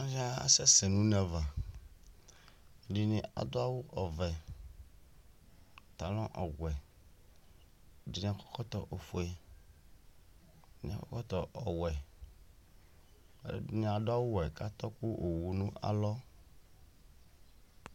aluɛdɩnɩ kasɛsɛ nʊ une ava, ɛdɩnɩ adʊ awʊ ɔvɛ, pantalon ɔwɛ, ɛdɩnɩ akɔ ɛkɔtɔ ofue, ɛdɩnɩ akɔ ɛkɔtɔ ɔwɛ, ɛdɩnɩ adʊ awuwɛ kʊ atɔ kʊ owu nʊ alɔ